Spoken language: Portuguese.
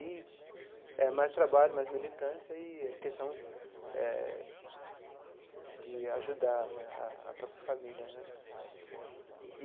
E é mais trabalho, mais militância e a questão eh de ajudar né a a própria família né.